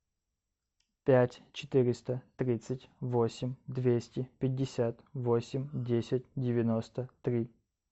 пять четыреста тридцать восемь двести пятьдесят восемь десять девяносто три